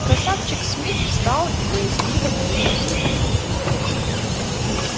красавчик смит встал и боязливо двинулся к нему